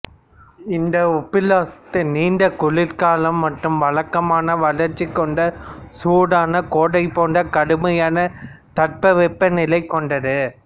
இந்த ஒப்லாஸ்து நீண்ட குளிர் காலம் மற்றும் வழக்கமான வறட்சி கொண்ட சூடான கோடை போன்ற கடுமையான தட்பவெப்பநிலை கொண்டது